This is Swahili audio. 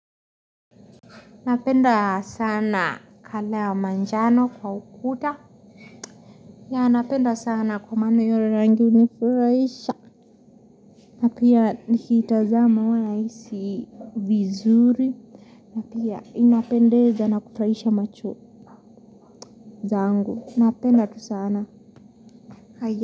Napenda sana 'colour' wa manjano kwa ukuta. Yeah napenda sana kwa maana hio rangi hunifuraisha. Na pia nikitazama huwa nahisi vizuri. Na pia inapendeza na kufuraisha macho zangu. Napenda tu sana.